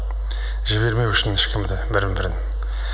жібермеу үшін ешкімді бірін бірін